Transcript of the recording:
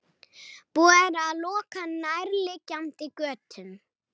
Búið er að loka nærliggjandi götum